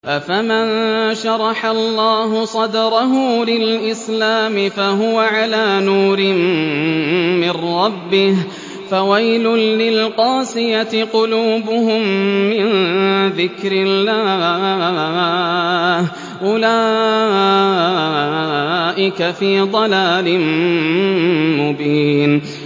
أَفَمَن شَرَحَ اللَّهُ صَدْرَهُ لِلْإِسْلَامِ فَهُوَ عَلَىٰ نُورٍ مِّن رَّبِّهِ ۚ فَوَيْلٌ لِّلْقَاسِيَةِ قُلُوبُهُم مِّن ذِكْرِ اللَّهِ ۚ أُولَٰئِكَ فِي ضَلَالٍ مُّبِينٍ